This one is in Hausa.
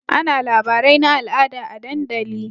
Ana labarai na al'ada a dandali